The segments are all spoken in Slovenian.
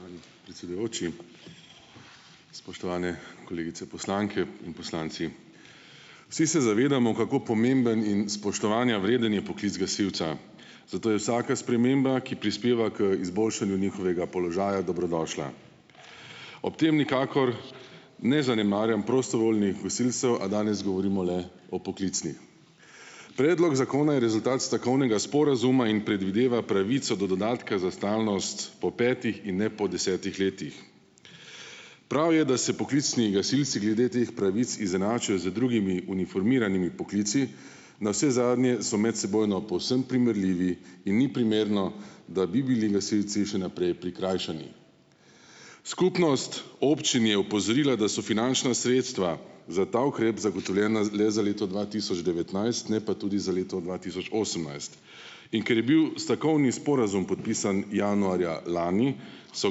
Spoštovani predsedujoči, spoštovane kolegice, poslanke in poslanci! Vsi se zavedamo, kako pomemben in spoštovanja vreden je poklic gasilca, zato je vsaka sprememba, ki prispeva k izboljšanju njihovega položaja dobrodošla. Ob tem nikakor ne zanemarjam prostovoljnih gasilcev, a danes govorimo le o poklicnih. Predlog zakona je rezultat stavkovnega sporazuma in predvideva pravico do dodatka za stalnost pol petih in ne po desetih letih. Prav je, da se poklicnih gasilci glede teh pravic izenačijo z drugimi uniformiranimi poklici, navsezadnje so medsebojno povsem primerljivi in ni primerno, da bi bili gasilci še naprej prikrajšani. Skupnost občin je opozorila, da so finančna sredstva za ta ukrep zagotovljena le za leto dva tisoč devetnajst, ne pa tudi za leto dva tisoč osemnajst, in ker je bil stavkovni sporazum podpisan januarja lani, so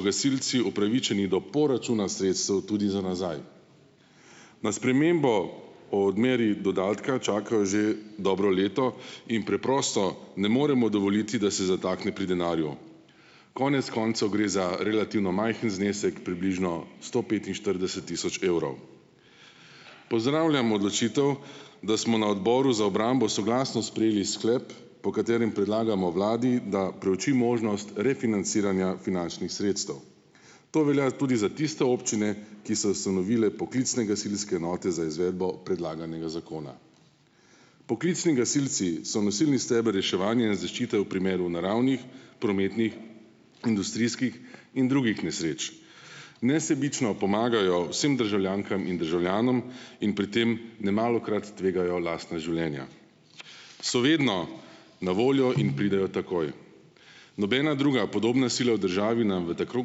gasilci upravičeni do poračuna sredstev tudi za nazaj. Na spremembo o odmeri dodatka čakajo že dobro leto in preprosto ne moremo dovoliti, da se zatakne pri denarju. Konec koncev gre za relativno majhen znesek, približno sto petinštirideset tisoč evrov. Pozdravljam odločitev, da smo na Odboru za obrambo soglasno sprejeli sklep, po katerem predlagamo vladi, da preuči možnost refinanciranja finančnih sredstev. To velja tudi za tiste občine, ki so ustanovile poklicne gasilske enote za izvedbo predlaganega zakona. Poklicni gasilci so nosilni steber reševanja in zaščite v primeru naravnih, prometnih, industrijskih in drugih nesreč. Nesebično pomagajo vsem državljankam in državljanom in pri tem nemalokrat tvegajo lastna življenja. So vedno na voljo in pridejo takoj, nobena druga podobna sila v državi nam v tako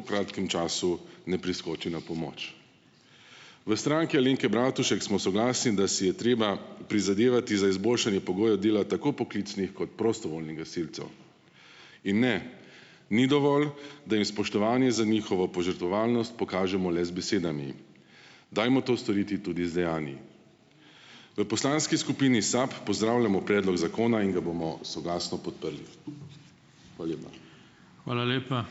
kratkem času ne priskoči na pomoč. V Stranki Alenke Bratušek smo soglasni, da si je treba prizadevati za izboljšanje pogojev dela tako poklicnih kot prostovoljnih gasilcev in ne, ni dovolj, da jim spoštovanje za njihovo požrtvovalnost pokažemo le z besedami. Dajmo to storiti tudi z dejanji. V poslanski skupini Sabo pozdravljamo predlog zakona in ga bomo soglasno podprli. Hvala lepa.